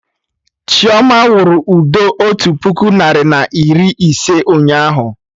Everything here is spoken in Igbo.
Chioma wụrụ ụdọ otu puku narị na iri ise ụnyaahụ